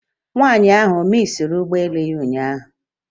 Nwaanyị ahụ ọ misiri ụgbọ elu ya ụnyaahụ?